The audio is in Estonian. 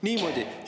" Niimoodi.